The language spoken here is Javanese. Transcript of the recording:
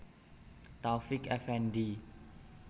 Taufiq Effendi